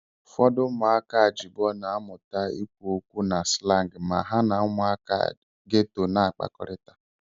Ufodu umuaka ajibo na-amuta ikwu okwu na slangiu ma ha na umuaka gétò na-akpakorita